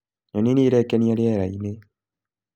Nyoni nĩirekenia rĩera-inĩ